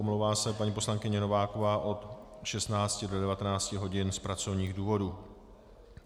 Omlouvá se paní poslankyně Nováková od 16 do 19 hodin z pracovních důvodů.